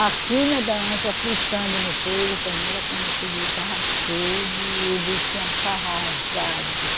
A clina da anta, fritando no fogo, a panela, quando eu cheguei, estava todo o urubu tinha ca arrasado